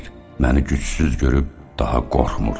Məni gücsüz görüb daha qorxmur.